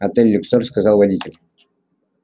отель люксор сказал водитель